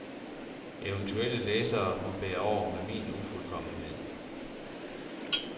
Eventuelle læsere må bære over med min ufuldkommenhed.